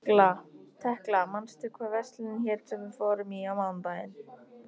Tekla, manstu hvað verslunin hét sem við fórum í á mánudaginn?